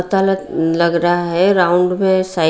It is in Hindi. लग रहा है राउंड मे साइ--